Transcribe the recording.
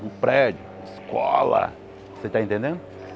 No prédio, escola, você está entendendo?